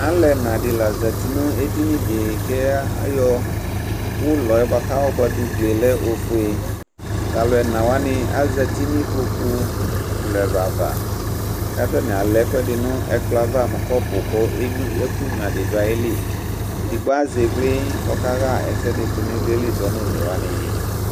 Alu ɛnadi la zati nu edinyidi ku ayɔ ɔlɔyɛ kayɔ buadu ku ugli lɛ ofue ku alu ɛnawani azati nu kpoku ɛlu ɛlu ava atani alɛ ɛkuɛdi nu ɛkplɔ ava mu kɔpuku ɛkunya di du ayili edigbo azɛ óvlɛ ku ɔkaɣa ɛsɛdinu ivliɛli zɔ nu alu one wani